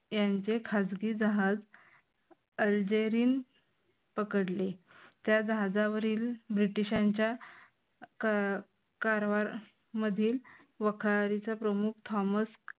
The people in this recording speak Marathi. यांचे खाजगी जहाज अलजेरीन पकडले. त्या जहाजावरील ब्रिटिशांच्या कारवार मधील वखारीचा प्रमुख थॉमस